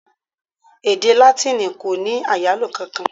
Èdè Látíìnì kò ní ọ̀rọ̀ àyálò kankan.